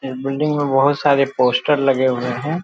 इस बिल्डिंग में बहुत सारे पोस्टर लगे हुए हैं।